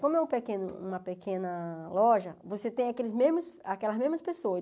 Como é um pequeno uma pequena loja, você tem aqueles mesmos aquelas mesmas pessoas.